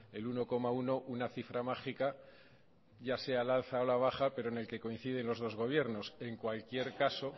el uno coma uno una cifra mágica ya sea al alza o a la baja pero en el que coinciden los dos gobiernos en cualquier caso